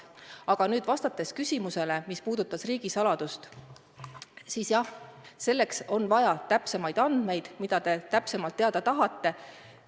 Aga vastates küsimusele, mis puudutas riigisaladust, siis jah, selleks, et vastata sellele, mida te täpsemalt teada tahate, on vaja täpsemaid andmeid.